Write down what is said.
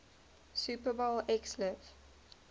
super bowl xliv